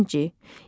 İkinci.